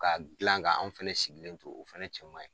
Ka gilan ka anw fɛnɛ sigilen to o fɛnɛ cɛma ye